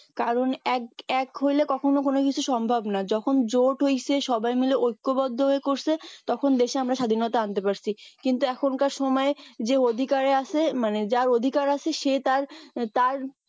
কারণ এক এক হইলে কখনোই হইলে কখনই কিছু সম্ভব না যখন জোট হইছে সবাই মিলে ঐক্যবদ্ধ হয়ে করছে তখন দেশে আমরা স্বাধীনতা আনতে পারছি কিন্তু এখনকার সময়ে যে অধিকার আছে যার অধিকার আছে সে তার তার